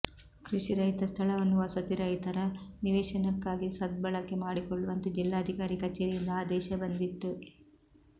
ಕೃಷಿರಹಿತ ಸ್ಥಳವನ್ನು ವಸತಿ ರಹಿತರ ನಿವೇಶನಕ್ಕಾಗಿ ಸದ್ಬಳಕೆ ಮಾಡಿಕೊಳ್ಳುವಂತೆ ಜಿಲ್ಲಾಧಿಕಾರಿ ಕಚೇರಿಯಿಂದ ಆದೇಶ ಬಂದಿತ್ತು